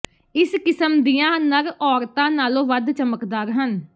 ਇਸ ਕਿਸਮ ਦੀਆਂ ਨਰ ਔਰਤਾਂ ਨਾਲੋਂ ਵੱਧ ਚਮਕਦਾਰ ਹਨ